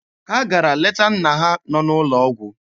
Ha gara leta nna ha nọ n'ụlọ ọgwụ.